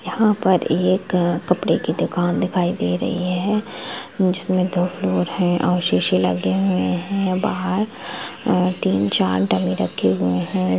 यहाँ पर एक कपडे कि दुकान दिखाई दे रही है जिसमें दो फ्लोर है और शीशे लगे हुए हैं बाहार तीन चार डेम रखे हुए है।